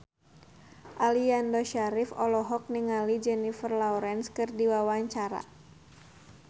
Aliando Syarif olohok ningali Jennifer Lawrence keur diwawancara